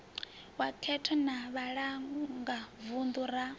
wa khetho na vhalangavunḓu ra